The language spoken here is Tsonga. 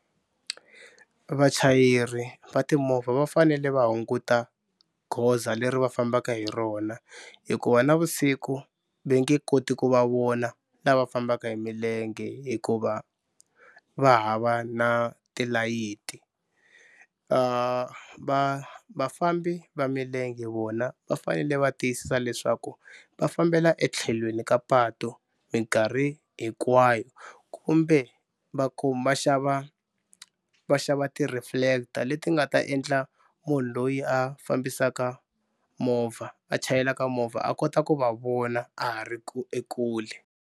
Vachayeri va timovha va fanele va hunguta goza leri va fambaka hi rona hikuva navusiku va nge koti ku va vona lava fambaka hi milenge hikuva va hava na tilayiti. Va vafambi va milenge vona va fanele va tiyisisa leswaku va fambela etlhelweni ka patu mikarhi hinkwayo kumbe va va xava va xava ti-reflector leti nga ta endla munhu loyi a fambisaka movha a chayelaka movha a kota ku va vona a ha ri ekule.